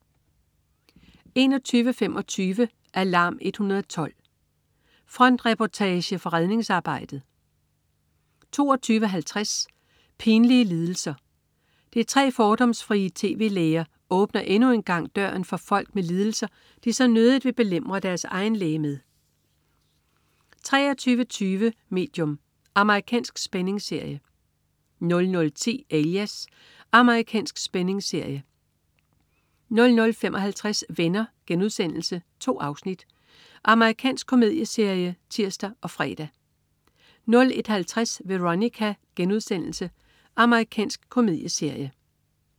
21.25 Alarm 112. Frontreportage fra redningsarbejdet 22.50 Pinlige lidelser. De tre fordomsfrie tv-læger åbner endnu en gang døren for folk med lidelser, de så nødigt vil belemre deres egen læge med 23.20 Medium. Amerikansk spændingsserie 00.10 Alias. Amerikansk spændingsserie 00.55 Venner.* 2 afsnit. Amerikansk komedieserie (tirs og fre) 01.50 Veronica.* Amerikansk komedieserie